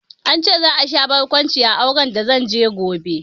An ce za a sha barkwanci a auren da zanje gobe